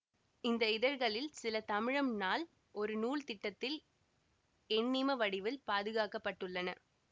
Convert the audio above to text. இந்த இதழ்களில் சில தமிழம் நாள் ஒரு நூல் திட்டத்தில் எண்ணிம வடிவில் பாதுகாக்க பட்டுள்ளன